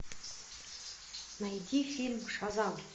найди фильм шазам